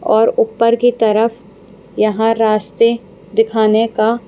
और ऊपर की तरफ यहाँ रास्ते दिखाने का--